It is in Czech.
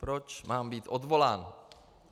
Proč mám být odvolán?